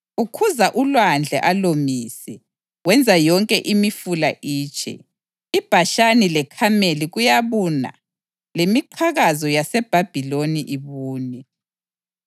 Ukhuza ulwandle alomise; wenza yonke imifula itshe. IBhashani leKhameli kuyabuna lemiqhakazo yaseLebhanoni ibune.